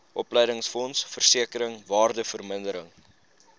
opleidingsfonds versekering waardevermindering